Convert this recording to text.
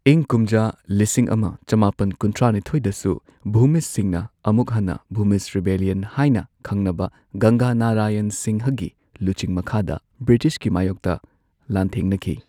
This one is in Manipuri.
ꯏꯪ ꯀꯨꯝꯖꯥ ꯂꯤꯁꯤꯡ ꯑꯃ ꯆꯃꯥꯄꯟ ꯀꯨꯟꯊ꯭ꯔꯥꯅꯤꯊꯣꯏꯗꯁꯨ ꯚꯨꯃꯤꯖꯁꯤꯡꯅ ꯑꯃꯨꯛ ꯍꯟꯅ ꯚꯨꯃꯤꯖ ꯔꯤꯕꯦꯂꯤꯌꯟ ꯍꯥꯏꯅ ꯈꯪꯅꯕ ꯒꯪꯒꯥ ꯅꯥꯔꯥꯌꯟ ꯁꯤꯡꯍꯒꯤ ꯂꯨꯆꯤꯡ ꯃꯈꯥꯗ ꯕ꯭ꯔꯤꯇꯤꯁꯀꯤ ꯃꯥꯌꯣꯛꯇ ꯂꯥꯟꯊꯦꯡꯅꯈꯤ꯫